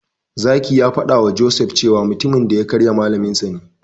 Zaki ya faɗawa Joseph cewa mutumin da ya karye Malaminsa ne.